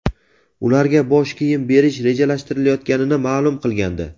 ularga bosh kiyim berish rejalashtirilayotganini ma’lum qilgandi.